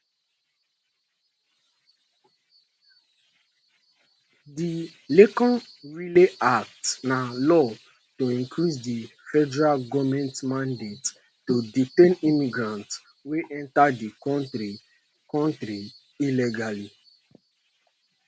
di laken riley act na law to increase di federal goment mandate to detain immigrants wey enta di kontri kontri illegally